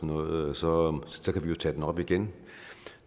noget så så kan vi jo tage den op igen